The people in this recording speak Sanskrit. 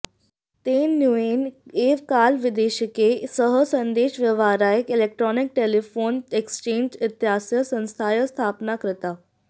तेन न्यूने एव काले वैदेशिकैः सह सन्देशव्यवहाराय इलेक्ट्रोनिक् टेलिफोन् एक्स्चेन्ज् इत्यस्याः संस्थायाः स्थापना कृता